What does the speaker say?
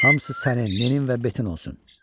Hamısı sənin, Ninin və Betin olsun."